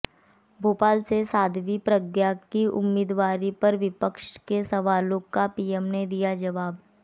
भोपाल से साध्वी प्रज्ञा की उम्मीदवारी पर विपक्ष के सवाल का पीएम ने दिया जवाब